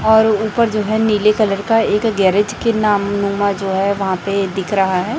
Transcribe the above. और ऊपर जो है नीले कलर का एक गैरेज के नाम नुमा जो है वहां पे दिख रहा है।